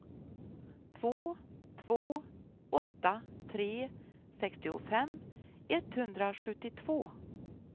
två två åtta tre sextiofem etthundrasjuttiotvå